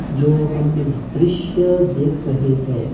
जो हम दृश्य देख रहे हैं--